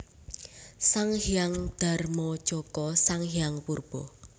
Sang Hyang Darmajaka Sang Hyang Purba